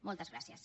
moltes gràcies